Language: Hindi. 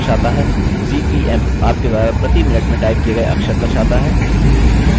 cpm आपके द्वारा प्रति मिनट में टाइप किए गए अक्षर दर्शाता है